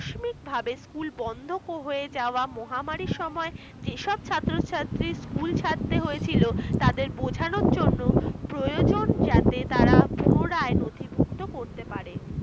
যেভাবে school বন্ধ হয়ে যাওয়ায় মহামারীর সময় যেসব ছাত্র-ছাত্রীদের school ছাড়তে হয়েছিল তাদের বোঝানোর জন্য প্রয়োজন যাতে তারা পুনরায় নথিভূক্ত করতে পারে